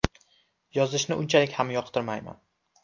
Yozishni unchalik ham yoqtirmayman.